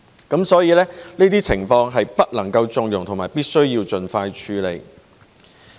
因此，這些情況是不能縱容和必須盡快處理。